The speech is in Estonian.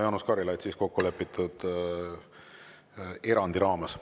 Jaanus Karilaid, kokkulepitud erandi raames.